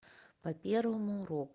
по первому уроку